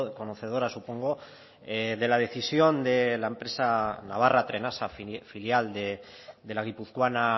conocedora supongo de la decisión de la empresa navarra trenasa filial de la guipuzcoana